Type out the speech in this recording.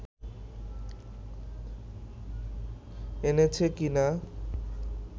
এনেছে কিনা